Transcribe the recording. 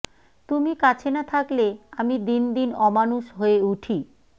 তুমি কাছে না থাকলে আমি দিন দিন অমানুষ হয়ে উঠি